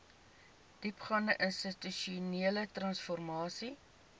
diepgaande institusionele transformasie